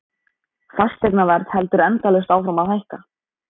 Fasteignaverð heldur endalaust áfram að hækka.